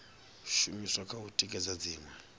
shumiswa kha u tikedza dziṅwe